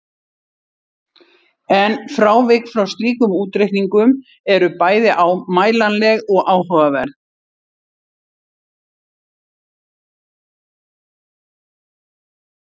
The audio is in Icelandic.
En frávik frá slíkum útreikningum eru bæði mælanleg og áhugaverð.